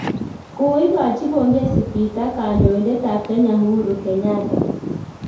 Koigochi pongesi Peter kandoindet ab Kenya, Uhuru Kenyatta